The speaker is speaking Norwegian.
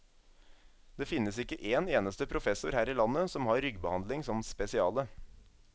Det finnes ikke én eneste professor her i landet som har ryggbehandling som spesiale.